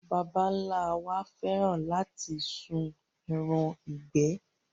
Àwọn baba ńlá wa fẹ́ràn láti sún ẹran ìgbẹ́.